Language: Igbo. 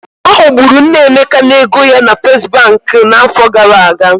Ha ghọgburu nne Emeka n'ego ya na Fesbuk n'afọ gara aga.